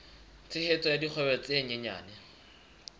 tshehetso ya dikgwebo tse nyenyane